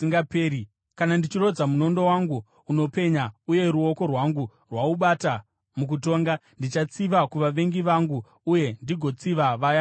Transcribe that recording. kana ndichirodza munondo wangu unopenya uye ruoko rwangu rwaubata mukutonga, ndichatsiva kuvavengi vangu uye ndigotsiva vaya vanondivenga.